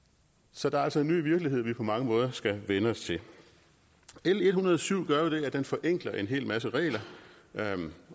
så der er altså en ny virkelighed vi på mange måder skal vænne os til l en hundrede og syv gør jo det at den forenkler en hel masse regler